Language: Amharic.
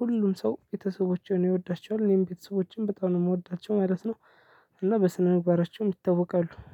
ሁሉም ሰው ቤተሰቦቼን ይወዳቸዋል። እኔም ቤተሰቦቼን በጣም ነው የምወዳቸው ማለት ነው። እና በስነ ምግባራቸውም ይታወቃሉ።